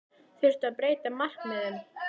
Þurfti að breyta markmiðum?